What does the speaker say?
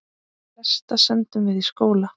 Flesta sendum við í skóla.